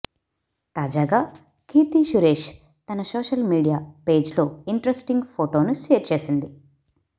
తాజాగా కీర్తి సురేష్ తన social media పేజ్లో ఇంట్రస్టింగ్ ఫోటోను షేర్ చేసింది